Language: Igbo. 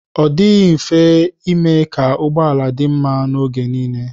Ọ dịghị mfe ime ka ụgbọala dị mma oge nile.